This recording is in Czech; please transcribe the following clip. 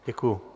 Děkuji.